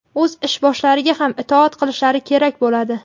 o‘z ishboshilarga ham itoat qilishlari kerak bo‘ladi.